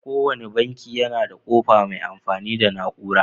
Ko wanne banki yana da ƙofa mai amfani da na 'ura.